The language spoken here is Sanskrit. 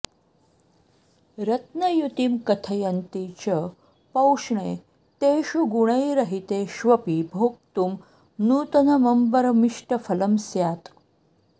रत्नयुतिं कथयन्ति च पौष्णे तेषु गुणै रहितेष्वपि भोक्तुं नूतनमम्बरमिष्टफलं स्यात्